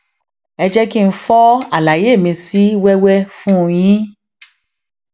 ẹ jẹ kí n fọ àlàyé mi sí wẹwẹ fún yín